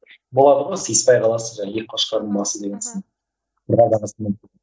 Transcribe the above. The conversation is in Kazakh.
болады ғой сыйыспай қаласың жаңағы екі қошқардың басы деген